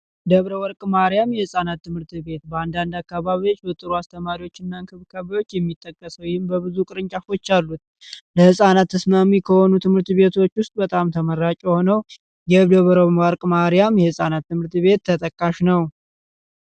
የወርቅ ማርያም የህጻናት ትምህርት ቤት በአንዳንድ አካባቢዎች በጥሩ አስተማሪዎችና ክብካቤዎች የሚጠቀሰው በብዙ ቅርንጫፎች አሉት ለህፃናት እስማሚ ከሆኑ ትምህርት ቤቶች ውስጥ በጣም ተመራቂ ሆኖ የህፃናት ትምርት ቤት ተጠቃሽ ነው